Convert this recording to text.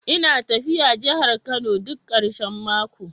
Ina tafiya jihar Kano duk karshen mako